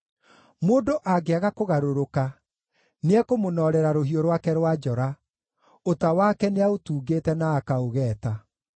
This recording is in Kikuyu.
Mũndũ angĩaga kũgarũrũka, nĩekũmũnoorera rũhiũ rwake rwa njora; ũta wake nĩaũtungĩte na akaũgeeta.